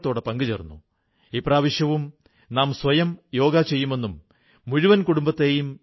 നമ്മുടെ സിഖു ഗുരുക്കളും തങ്ങളുടെ ജീവിതത്തിലൂടെയും സത്കാര്യങ്ങളിലൂടെയും ഐക്യത്തിന്റെ വികാരത്തെ ശക്തിപ്പെടുത്തിയിട്ടുണ്ട്